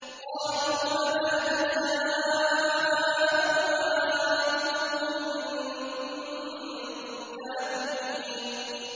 قَالُوا فَمَا جَزَاؤُهُ إِن كُنتُمْ كَاذِبِينَ